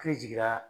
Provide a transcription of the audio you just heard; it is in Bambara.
E jiginna